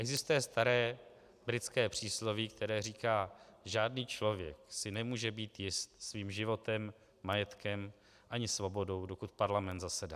Existuje staré britské přísloví, které říká: Žádný člověk si nemůže být jist svým životem, majetkem ani svobodou, dokud parlament zasedá.